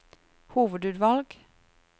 hovedutvalg